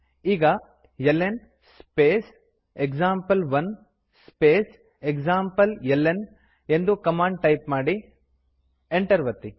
ಈಗ ಲ್ನ್ space example one space ಎಕ್ಸಾಂಪ್ಲೆಲ್ನ ಎಂದು ಕಮಾಂಡ್ ಟೈಪ್ ಮಾಡಿ ಎಂಟರ್ ಒತ್ತಿ